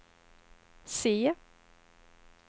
se